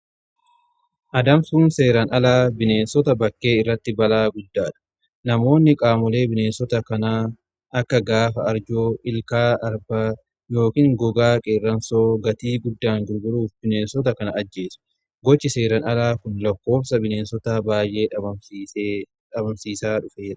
Adamsuun seeran alaa bineensota bakkee irratti balaa guddaadha. Namoonni qaamolee bineensota kanaa akka gaafa arjoo, ilkaa arbaa yookiin gogaa qeeransoo gatii guddaan gurguruuf bineessota kana ajjeesu gochi seeran alaa kun lakkoofsa bineensota baay'ee dhabamsiisaa dhufeera.